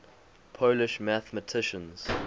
polish mathematicians